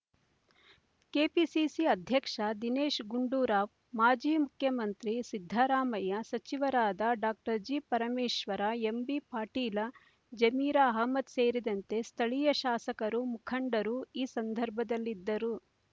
KPCC ಅಧ್ಯಕ್ಷ ದಿನೇಶ ಗುಂಡೂರಾವ್ ಮಾಜಿ ಮುಖ್ಯಮಂತ್ರಿ ಸಿದ್ಧರಾಮಯ್ಯ ಸಚಿವರಾದ ಡಾಕ್ಟರ್ ಜಿಪರಮೇಶ್ವರ ಎಂಬಿಪಾಟೀಲ ಜಮೀರ ಅಹ್ಮದ ಸೇರಿದಂತೆ ಸ್ಥಳೀಯ ಶಾಸಕರು ಮುಖಂಡರು ಈ ಸಂದರ್ಭದಲ್ಲಿದ್ದರು